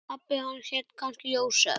Pabbi hans hét kannski Jósef.